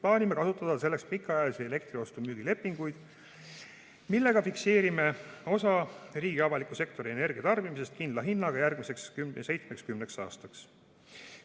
Plaanime kasutada selleks pikaajalisi elektri ostu-müügi lepinguid, millega fikseerime osa riigi avaliku sektori energiatarbimisest kindla hinnaga järgmiseks 7–10 aastaks.